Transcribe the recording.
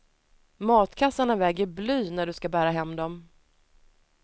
Matkassarna väger bly när du ska bära hem dem.